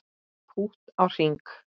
Pútt á hring